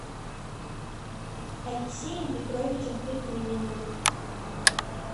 алексеем петровичем петруниным